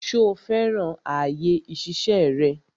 Ṣo fẹ́ràn àyè ìṣiṣẹ́ rẹ?